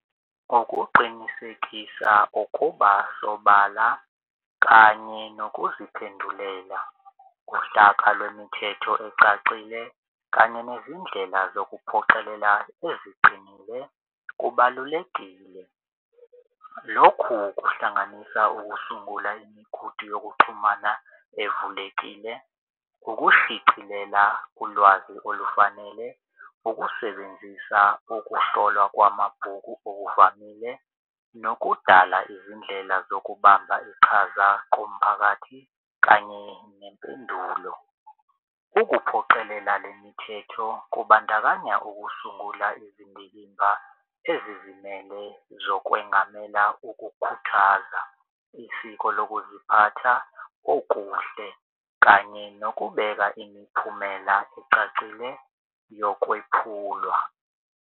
Ngokuqinisekisa ukuba sobala kanye nokuziphendulela uhlaka lwemithetho ecacile kanye nezindlela zokuphoqelela eziqinile kubalulekile. Lokhu kuhlanganisa ukusungula imigudu yokuxhumana evulekile, ukushicilela ulwazi olufanele ukusebenzisa ukuhlolwa kwamabhuku okuvamile nokudala izindlela zokubamba, iqhaza komphakathi kanye nempendulo. Ukuphoqelela lemithetho kubandakanya ukusungula izindikimba ezizimele zokwengamela ukukhuthaza isiko lokuziphatha okuhle kanye nokubeka imiphumela ecacile yokwephulwa.